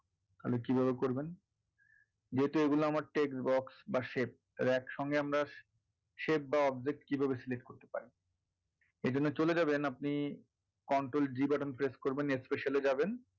তাহলে কীভাবে করবেন যেহেতু এইগুলো আমার text box বা shape আমরা shaip বা object কীভাবে select করতে পারি এজন্য চলে যাবেন আপনি control D button press করবেন special এ যাবেন,